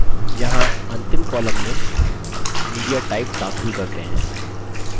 यहाँ अंतिम column में mediatype दाखिल करते हैं